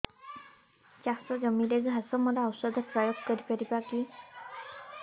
ଚାଷ ଜମିରେ ଘାସ ମରା ଔଷଧ ପ୍ରୟୋଗ କରି ପାରିବା କି